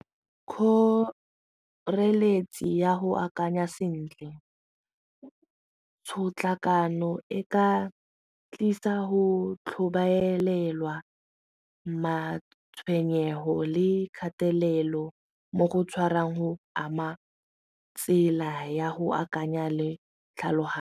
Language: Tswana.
Kgoreletsi ya go akanya sentle, tshotlakano e ka tlisa go tlhobaelwa matshwenyego le kgatelelo mo go tshwarang go ama tsela ya go akanya le tlhaloganyo.